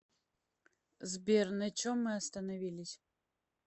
сбер на чем мы остановились